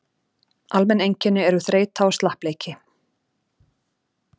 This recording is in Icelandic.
Almenn einkenni eru þreyta og slappleiki.